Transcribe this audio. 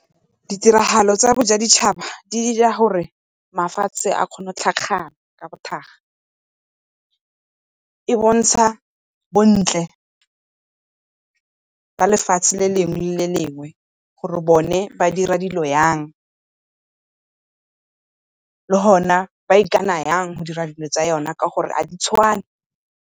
Ditiragalo tsa boja ditšhaba di dira gore mafatshe a kgone go tlhakana ka , e bontsha bontle ba le fatshe le lengwe le lengwe gore bone ba dira dilo yang, le gona ba ikana yang go dira dilo tsa yona ka gore ga di tshwane.